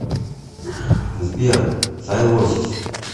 сбер сайлосис